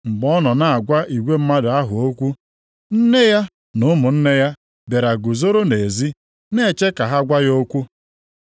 Mgbe ọ nọ na-agwa igwe mmadụ ahụ okwu, nne ya na ụmụnne ya bịara guzoro nʼezi na-eche ka ha gwa ya okwu.